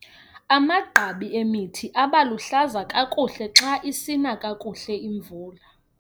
Amagqabi emithi aba luhlaza kakuhle xa isina kakuhle imvula.